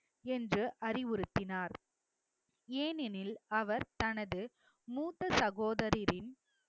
என்று அறிவுறுத்தினார் ஏனெனில் அவர் தனது மூத்த சகோதரரின்